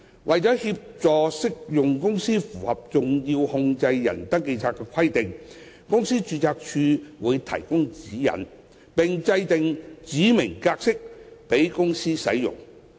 為協助適用公司符合登記冊的規定，公司註冊處會提供指引，並制訂指明格式供公司使用。